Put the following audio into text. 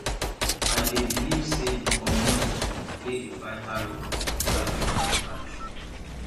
i dey believe say di community dey play a vital role in preserving our traditions